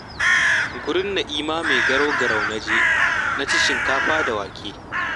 Gurin Na'ima mai garau-garau na je, na ci shinkafa da wake